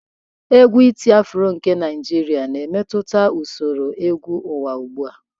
Égwù iti-afro nke Naijiria na-emetụta usoro egwu ụwa ugbu a.